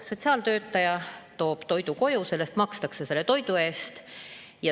Sotsiaaltöötaja toob toidu koju, sellest makstakse selle toidu eest.